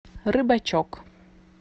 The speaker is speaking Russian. рыбачок